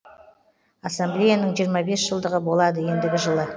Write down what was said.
ассамблеяның жиырма бес жылдығы болады ендігі жылы